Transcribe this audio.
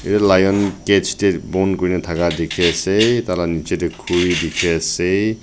lion cax te bon kori thaka dekhi ase tar laga osor te khori dekhi ase.